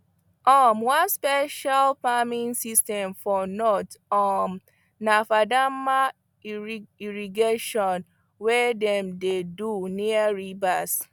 um one special farming system for north um na fadama irri irrigation wey dem dey do near rivers